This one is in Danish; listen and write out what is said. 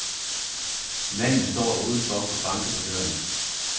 Manden står udenfor og banker på døren.